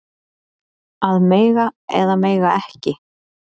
Að mega eða mega ekki